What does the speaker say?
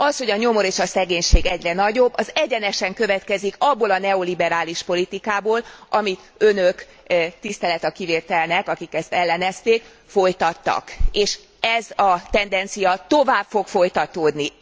Az, hogy a nyomor és a szegénység egyre nagyobb, az egyenesen következik abból a neoliberális politikából, amit Önök tisztelet a kivételnek, akik ezt ellenezték folytattak, és ez a tendencia tovább fog folytatódni.